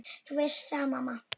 Þú veist það, mamma.